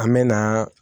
An me na